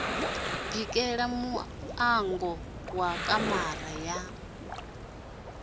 bikela muṋango wa kamara ya